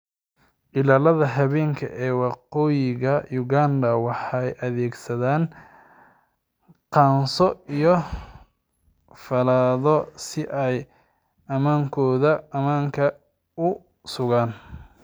Ilaalada habeenka ee Waqooyiga Uganda waxay adeegsadaan qaanso iyo fallaadho si ay ammaanka u sugaan.